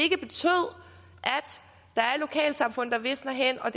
der er lokalsamfund der visner hen og